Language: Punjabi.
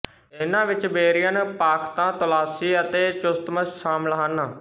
ਇਹਨਾਂ ਵਿੱਚ ਬੇਰੀਅਨ ਪਾਖ਼ਤਾ ਤੋਲਾਸੀ ਅਤੇ ਚੁਸਤਮਸ਼ ਸ਼ਾਮਿਲ ਹਨ